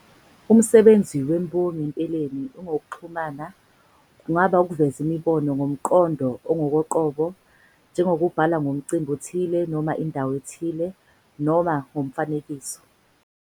Umsebenzi wembongi empeleni ungowokuxhumana, kungaba ukuveza imibono ngomqondo ongokoqobo, njengokubhala ngomcimbi othile noma indawo ethile, noma ngokomfanekiso.